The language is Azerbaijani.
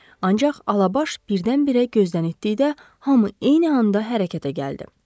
Ancaq Alabaş birdən-birə gözdən itdiyi də, hamı eyni anda hərəkətə gəldi.